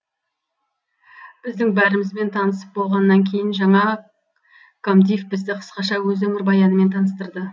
біздің бәрімізбен танысып болғаннан кейін жаңа комдив бізді қысқаша өз өмірбаянымен таныстырды